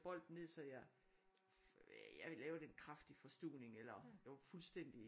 Bolden ned så jeg jeg lavede en kraftig forstuvning eller jeg var fuldstændig